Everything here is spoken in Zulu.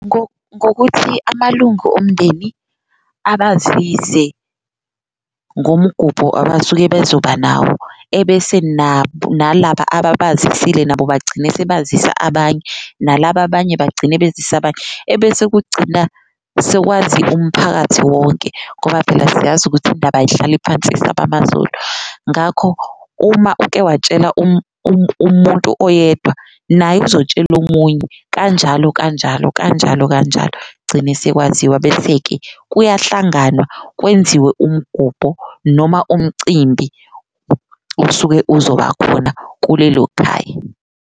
Ngokuthi amalunga omndeni abazise ngomgubho abasuke bezoba nawo, ebese nalaba ababazisile nabo bagcine sebazisa abanye, nalaba abanye bagcine bezise abanye, ebese kugcina sekwazi umphakathi wonke. Ngoba phela siyazi ukuthi iy'ndaba ayihlali phansi zisaba amazolo, ngakho uma ukewatshela umuntu oyedwa naye uzotshela omunye kanjalo kanjalo kanjalo kanjalo gcine sekwaziwa. Bese-ke kuyahlanganwa kwenziwe umgubho noma umcimbi osuke uzoba khona kulelo khaya.